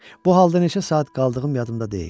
Bu halda neçə saat qaldığım yadımda deyil.